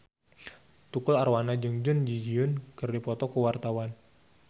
Tukul Arwana jeung Jun Ji Hyun keur dipoto ku wartawan